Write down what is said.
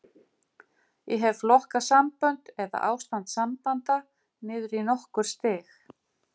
Ég hef flokkað sambönd, eða ástand sambanda, niður í nokkur stig.